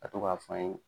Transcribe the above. Ka to k'a f'an ye